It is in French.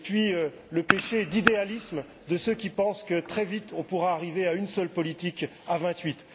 d'autre part, le péché d'idéalisme de ceux qui pensent que, très vite, on pourra arriver à une seule politique à vingt huit.